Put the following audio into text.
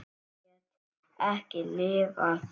Ég get ekki lifað.